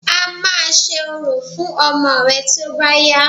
A máa ṣe orò fún ọmọ rẹ̀ tí ó bá yá